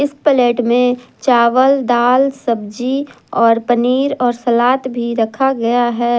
इस प्लेट में चावल दाल सब्जी और पनीर और सलाद भी रखा गया है।